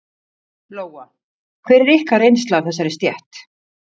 Lóa: Hver er ykkar reynsla af þessari stétt?